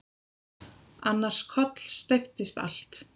Annars kollsteypist allt.